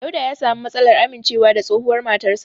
Dauda ya sami matsalar amincewa da tsohuwar matarsa.